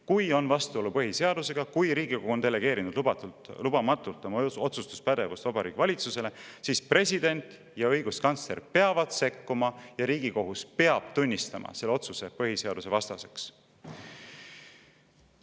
Kui on vastuolu põhiseadusega, kui Riigikogu on delegeerinud lubamatult oma otsustuspädevust Vabariigi Valitsusele, siis president ja õiguskantsler peavad sekkuma ning Riigikohus peab tunnistama selle otsuse põhiseadusvastaseks.